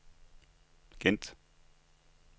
Gent